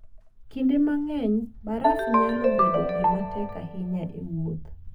Kinde mang'eny, baraf nyalo bedo gima tek ahinya e wuoth.